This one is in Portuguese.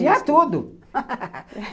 Tinha tudo!